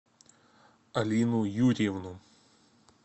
алину юрьевну